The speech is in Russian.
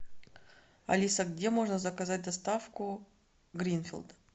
алиса где можно заказать доставку гринфилд